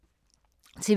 TV 2